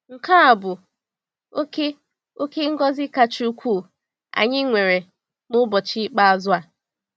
Nke a bụ oke oke ngọzi kacha ukwuu anyị nwere n’ụbọchị ikpeazụ a.